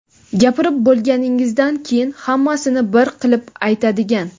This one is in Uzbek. Gapirib bo‘lganingizdan keyin hammasini bir qilib aytadigan;.